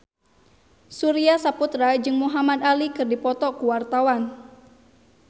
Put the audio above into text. Surya Saputra jeung Muhamad Ali keur dipoto ku wartawan